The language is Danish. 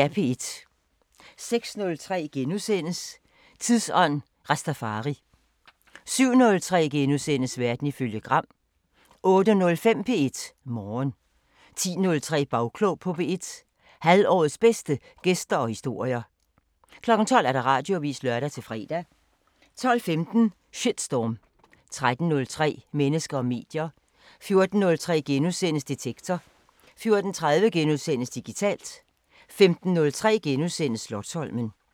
06:03: Tidsånd: Rastafari * 07:03: Verden ifølge Gram * 08:05: P1 Morgen 10:03: Bagklog på P1: Halvårets bedste gæster og historier 12:00: Radioavisen (lør-fre) 12:15: Shitstorm 13:03: Mennesker og medier 14:03: Detektor * 14:30: Digitalt * 15:03: Slotsholmen *